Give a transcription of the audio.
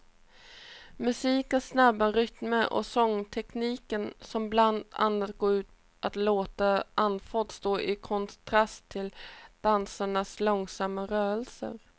Musikens snabba rytmer och sångtekniken som bland annat går ut på att låta andfådd står i kontrast till dansarnas långsamma rörelser.